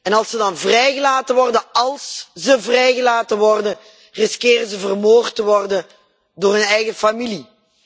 En als ze dan vrijgelaten worden als ze al vrijgelaten worden dreigen ze vermoord te worden door hun eigen familie.